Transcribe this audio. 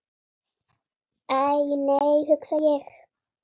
Æ, nei hugsa ég.